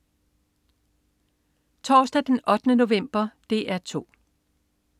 Torsdag den 8. november - DR 2: